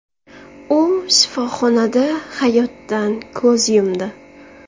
U shifoxonada hayotdan ko‘z yumdi.